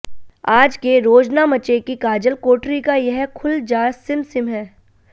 आज के रोजनामचे की काजल कोठरी का यह खुल जा सिम सिम है